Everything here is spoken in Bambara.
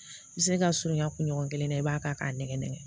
I bɛ se ka surunya kunɲɔgɔn kelen na i b'a ta k'a nɛmɛ nɛgɛn